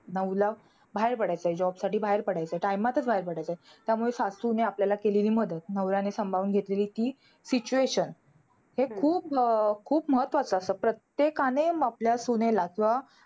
नऊला बाहेर पडायचंय, job साठी बाहेर पडायचंय. time मध्येचं बाहेर पडायचंय. त्यामुळे सासूने आपल्याला केलेली मदत. नवऱ्याने सांभाळून घेतलेली ती situation. हे खूप अं खूप महत्वाचं असतं. प्रत्येकाने आपल्या सुनेला किंवा